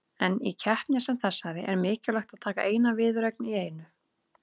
En í keppni sem þessari er mikilvægt að taka eina viðureign í einu.